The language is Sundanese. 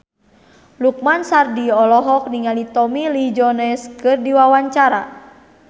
Lukman Sardi olohok ningali Tommy Lee Jones keur diwawancara